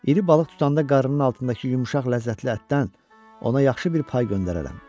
İri balıq tutanda qarnının altındakı yumşaq ləzzətli ətdən ona yaxşı bir pay göndərərəm.